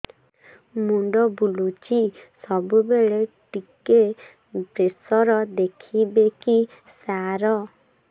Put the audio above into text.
ମୁଣ୍ଡ ବୁଲୁଚି ସବୁବେଳେ ଟିକେ ପ୍ରେସର ଦେଖିବେ କି ସାର